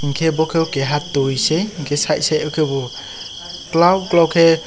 hingke bo kebo keha tui se hingke side side kebo kolo kolo kei.